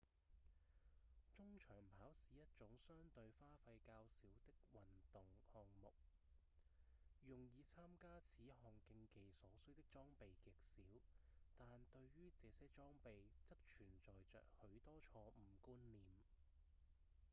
中長跑是一種相對花費較少的運動項目用以參加此項競技所需的裝備極少但對於這些裝備則存在著許多錯誤觀念